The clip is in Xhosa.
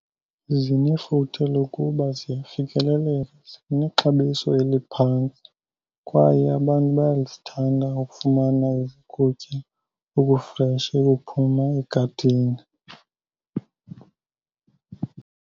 Zinefuthe lokuba ziyafikeleleka, zinexabiso eliphantsi kwaye abantu bayazithanda ukufumana ukutya okufreshi okuphuma egadini.